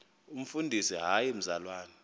umfundisi hayi mzalwana